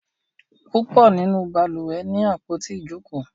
púpọ nínú balùwẹ̀ ní àpótí Ijoko.